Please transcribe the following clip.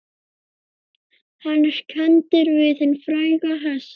Hann er kenndur við hinn fræga hest